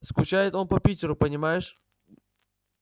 скучает он по питеру понимаешь